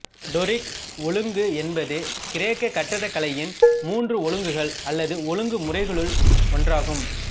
Doric ஒழுங்கு என்பது கிரேக்கக் கட்டிடக்கலையின் மூன்று ஒழுங்குகள் அல்லது ஒழுங்கு முறைமைகளுள் ஒன்றாகும்